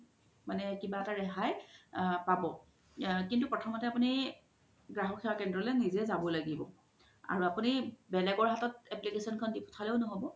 মানে কিবা এটা ৰেহাই পাব কিন্তু প্ৰথমতে আপুনি গ্ৰাহক সেৱা কেন্দ্ৰালয নিজে জাব লাগিব আৰু আপুনি বেলেগৰ হাতত application দি পোথালেও ন্হ'ব